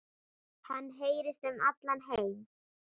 Hann heyrist um allan heim.